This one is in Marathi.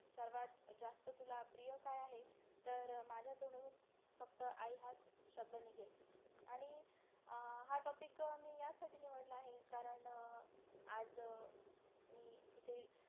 सर्वात जास्त तुला प्रिय काय आहे तर माझ्या तोंडून फक्त आई हाच शब्द निघेल आणि अं हा topic मी यासाठी निवडला आहे कारण आज मी इथे